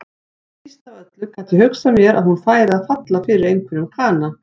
Síst af öllu gat ég hugsað mér að hún færi að falla fyrir einhverjum kana.